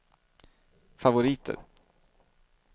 favoriter